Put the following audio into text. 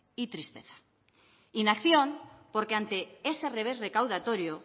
y tristeza inacción porque ante ese revés recaudatorio